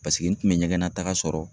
Paseke n kun bɛ ɲɛgɛnna taga sɔrɔ.